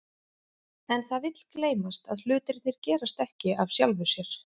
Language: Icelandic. En það vill gleymast að hlutirnir gerast ekki af sjálfu sér.